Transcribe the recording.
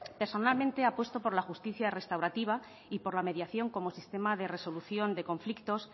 personalmente apuesto por la justicia restaurativa y por la mediación como sistema de resolución de conflictos